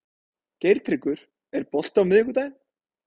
Geirtryggur, er bolti á miðvikudaginn?